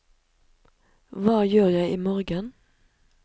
hva gjør jeg imorgen